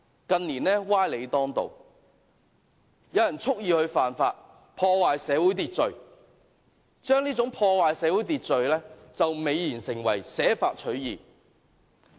近年歪理當道，有人蓄意犯法，破壞社會秩序，將破壞社會秩序美言為捨法取義。